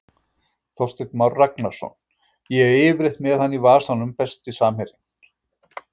Þorsteinn Már Ragnarsson, ég er yfirleitt með hann í vasanum Besti samherjinn?